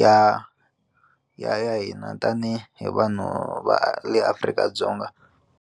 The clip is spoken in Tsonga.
ya ya ya hina tanihi hi vanhu va le Afrika-Dzonga.